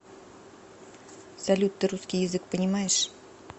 салют ты русский язык понимаешь